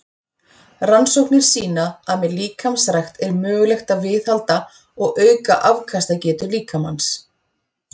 Rannsóknir sýna að með líkamsrækt er mögulegt að viðhalda og auka afkastagetu líkamans.